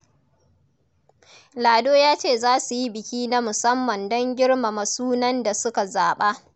Lado ya ce za su yi biki na musamman don girmama sunan da suka zaba.